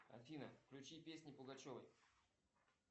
афина включи песни пугачевой